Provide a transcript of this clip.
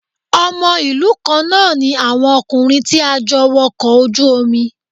Ọmọ ìlú kan náà ní àwọn ọkùnrin tí a jọ wọkọ̀ ojú omi